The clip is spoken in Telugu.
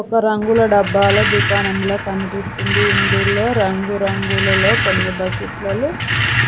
ఒక రంగుల డబ్బాల దుకాణంలా కనిపిస్తుంది ఇందులో రంగురంగులలో కొన్ని బకెట్ల లు